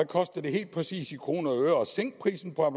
koster det helt præcis i kroner og øre at sænke prisen på